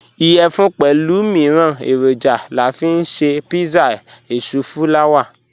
Iyẹfun pẹlu miiran eroja la fi nṣe pizza èṣùfùlàwà.